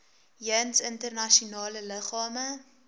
jeens internasionale liggame